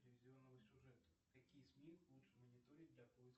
телевизионного сюжета какие сми лучше мониторить для поиска